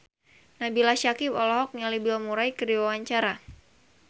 Nabila Syakieb olohok ningali Bill Murray keur diwawancara